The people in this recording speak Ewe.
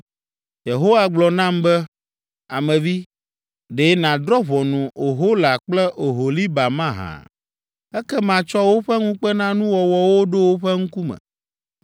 Yehowa gblɔ nam be, “Ame vi, ɖe nàdrɔ̃ ʋɔnu Ohola kple Oholiba mahã? Ekema tsɔ woƒe ŋukpenanuwɔwɔwo ɖo woƒe ŋkume,